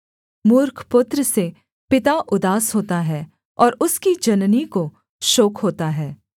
मूर्ख पुत्र से पिता उदास होता है और उसकी जननी को शोक होता है